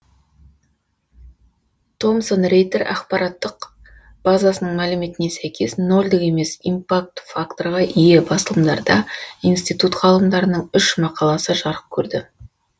томсон рейтер ақпараттық базасының мәліметіне сәйкес нолдік емес импакт факторға ие басылымдарда институт ғалымдарының үш мақаласы жарық көрді